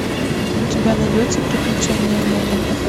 у тебя найдется приключения нелли